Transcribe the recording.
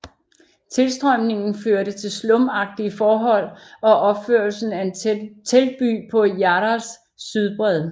Tilstrømningen førte til slumagtige forhold og opførelse af en teltby på Yarras sydbred